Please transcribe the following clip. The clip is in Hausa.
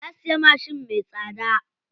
Ya siya mashin me tsada.